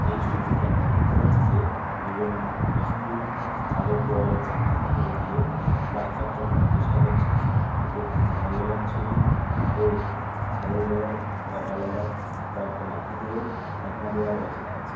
এই ছবিটিতে আমরা দেখতে পাচ্ছি যে দু-জন মিস্ত্রি ছাদের দেওয়ালে ছেনি হাতুড়ি দিয়ে প্লাস্টার চটানোর চেষ্টা করছে । এটি একটি দিনের বেলার ছবি ও ছাদের গায়ে লম্বা লম্বা কয়েকটা লাঠি দিয়েও ঠেকনা দেওয়া রয়েছে দেখছি।